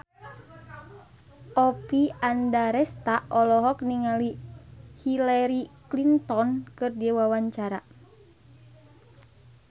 Oppie Andaresta olohok ningali Hillary Clinton keur diwawancara